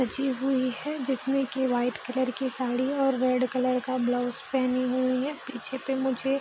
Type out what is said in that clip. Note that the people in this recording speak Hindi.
सजी हुई है जिसमें की व्हाइट कलर की साड़ी और रेड कलर का ब्लाउज पहनी हुई है पीछे पे मुझे --